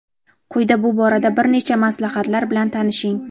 Quyida bu borada bir nechta maslahatlar bilan tanishing:.